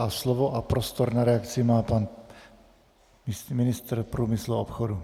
A slovo a prostor na reakci má pan ministr průmyslu a obchodu.